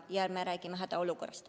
Ja ma räägime hädaolukorrast.